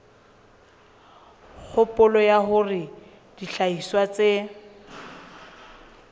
kgopolo ya hore dihlahiswa tse